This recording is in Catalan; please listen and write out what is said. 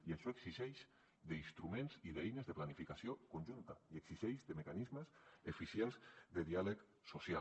i això exigeix instruments i eines de planificació conjunta i exigeix mecanismes eficients de diàleg social